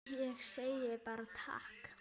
Ég segi bara takk.